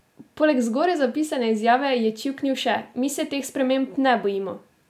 Poleg zgoraj zapisane izjave, je "čivknil" še: "Mi se teh sprememb ne bojimo.